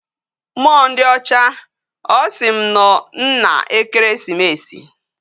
Mmuo ndi ocha, osim no nna ekeresimesi